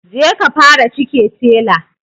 Je ka fara cike tela